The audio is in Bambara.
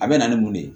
A bɛ na ni mun de ye